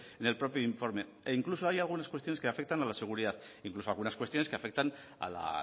en el propio informe e incluso hay algunas cuestiones que afectan a la seguridad incluso algunas cuestiones que afectan a la